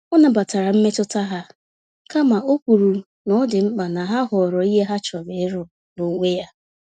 Ọ nabatara mmetụta ha, kama okwuru n'ọdị mkpa na ya họrọ ìhè ya chọrọ ịrụ, n'onwe ya